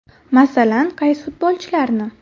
Masalan, qaysi futbolchilarni?